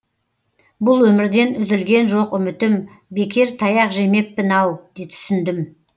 бұл өмірден үзілген жоқ үмітім бекер таяқ жемеппін ау түсіндім